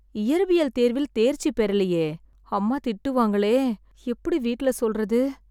இயற்பியல் தேர்வில் தேர்ச்சி பெறலியே. அம்மா திட்டுவாங்களே. எப்பிடி வீட்ல சொல்றது?